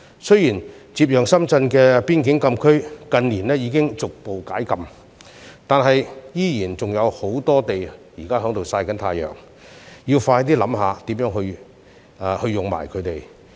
雖然接壤深圳的邊境禁區已於近年逐步解禁，但現時區內仍有很多閒置土地，政府應思考如何善用。